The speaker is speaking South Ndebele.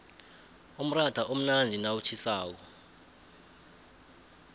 umratha umnandi nawutjhisako